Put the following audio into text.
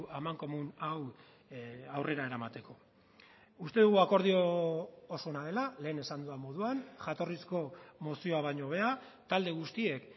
amankomun hau aurrera eramateko uste dugu akordio oso ona dela lehen esan dudan moduan jatorrizko mozioa baino hobea talde guztiek